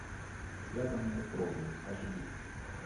связанные кровью аш ди